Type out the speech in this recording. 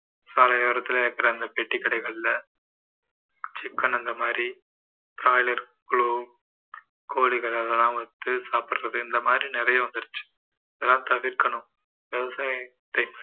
சாலை ஓரத்துல இருக்கற அந்த பெட்டி கடைகள்ல chicken அந்த மாதிரி broiler globe கோழிகள் அதெல்லாம் வந்து சாப்பிடுறது இந்த மாதிரி நிறைய வந்துருச்சு இதெல்லாம் தவிர்க்கணும் விவசாயத்தை